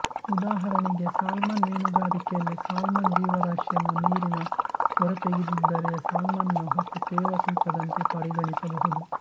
ಉದಾಹರಣೆಗೆ ಸಾಲ್ಮನ್ ಮೀನುಗಾರಿಕೆಯಲ್ಲಿ ಸಾಲ್ಮನ್ ಜೀವರಾಶಿಯನ್ನು ನೀರಿನ ಹೊರತೆಗೆದಿದ್ದರೆ ಸಾಲ್ಮನ್ನ ಒಟ್ಟು ತೇವ ತೂಕದಂತೆ ಪರಿಗಣಿಸಬಹುದು